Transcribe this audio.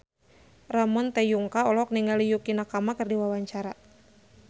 Ramon T. Yungka olohok ningali Yukie Nakama keur diwawancara